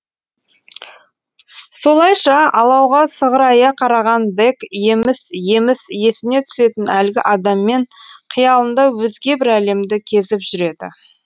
солайша алауға сығырая қараған бэк еміс еміс есіне түсетін әлгі адаммен қиялында өзге бір әлемді кезіп жүреді